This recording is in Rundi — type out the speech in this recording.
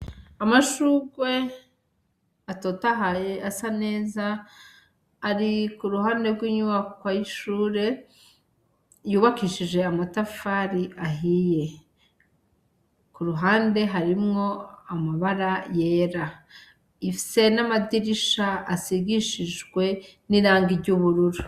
Amashurwe atotahaye asa neza ari ku ruhande rw'inyubakwa y'ishure yubakishije amatafari ahiye, ku ruhande harimwo amabara yera, ifise n'amadirisha asigishijwe n'iranga ry'ubururu.